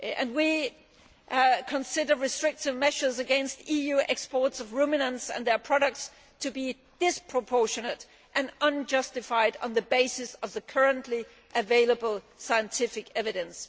We consider restrictive measures against EU exports of ruminants and their products to be disproportionate and unjustified on the basis of the currently available scientific evidence.